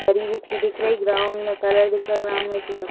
दरी बिछी दिख रही। ग्राउंड में कलर दिख रहा। ग्राउंड में एक लड़का --